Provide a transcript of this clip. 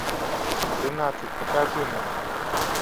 тринадцать покажи мне